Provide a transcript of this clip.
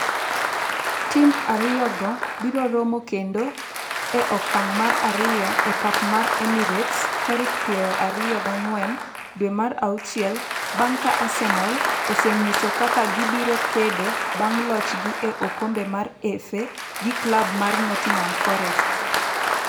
Tim ariyo go biroromo kendo e okang' mar ariyo e pap mar Emirates tarik piero ariyo gi ang'wen dwe mar auchiel bang' ka Arsenal osenyiso kaka gibiro kedo bang' lochgi e okombe mar FA gi klab mar Nottingham Forest.